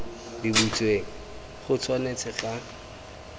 di butsweng go tshwanetse ga